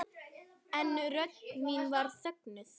En rödd mín var þögnuð.